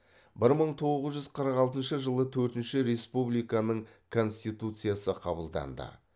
бір мың тоғыз жүз қырық алтыншы жылы төртінші республиканың конституциясы қабылданды